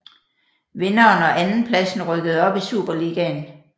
Vinderen og andenpladsen rykkede op i Superligaen